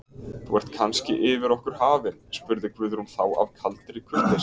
Þú ert kannski yfir okkur hafin, spurði Guðrún þá af kaldri kurteisi.